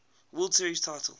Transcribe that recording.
world series titles